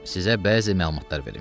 Sizə bəzi məlumatlar verim.